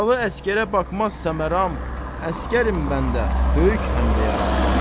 Yaralı əskərə baxmaz səmeram, əskərim məndə böyük həmdə yaram.